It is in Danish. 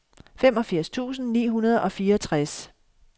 femogfirs tusind ni hundrede og fireogtres